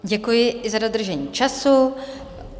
Děkuji za dodržení času.